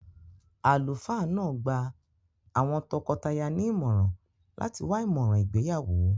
Àlùfáà náà gba àwọn tọkọtaya ní ìmọ̀ràn láti wá ìmọ̀ràn ìgbéyàwó.